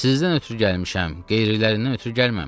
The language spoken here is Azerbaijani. Sizdən ötrü gəlmişəm, qeyrilərindən ötrü gəlməmişəm.